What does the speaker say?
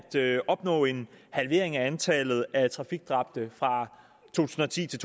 opnå en halvering af antallet af trafikdræbte fra to tusind og ti til